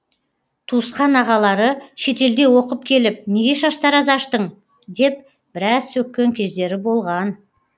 туысқан ағалары шетелде оқып келіп неге шаштараз аштың деп біраз сөккен кездері болған